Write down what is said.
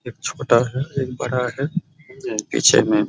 एक छोटा है एक बड़ा है पीछे में --